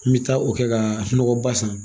N bɛ taa o kɛ ka nɔgɔba san